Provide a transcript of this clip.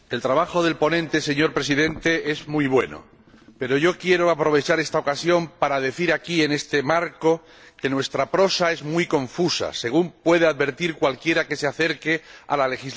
Señor Presidente, el trabajo del ponente es muy bueno, pero yo quiero aprovechar esta ocasión para decir aquí, en este marco, que nuestra prosa es muy confusa, según puede advertir cualquiera que se acerque a la legislación europea.